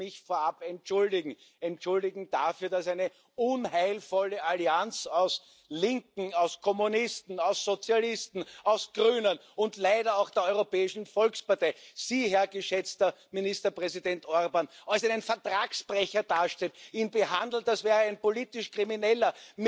Ich möchte mich vorab entschuldigen entschuldigen dafür, dass eine unheilvolle Allianz aus Linken, aus Kommunisten, aus Sozialisten, aus Grünen und leider auch der Europäischen Volkspartei Sie, Herr geschätzter Ministerpräsident Orbán, als einen Vertragsbrecher darstellt, Sie behandelt, als wären Sie ein politisch Krimineller.